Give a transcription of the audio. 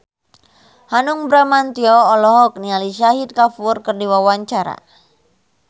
Hanung Bramantyo olohok ningali Shahid Kapoor keur diwawancara